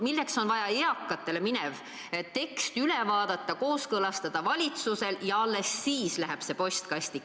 Milleks on vaja eakatele minev tekst veel üle vaadata, valitsusel kooskõlastada, alles siis läheb see postkasti?